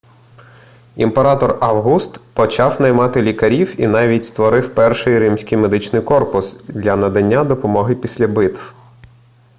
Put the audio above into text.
імператор август почав наймати лікарів і навіть створив перший римський медичний корпус для надання допомоги після битв